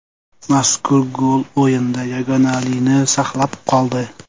Mazkur gol o‘yinda yagonalini saqlab qoldi.